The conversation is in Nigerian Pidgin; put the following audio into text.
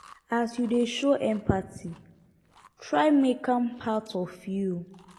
as yu dey show empathy try mek am part of yu